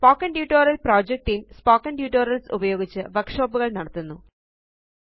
spoken tutorial project team spoken tutorials ഉപയോഗിച്ച് വര്ക്ഷോപ്പുകള് നടത്തുന്നു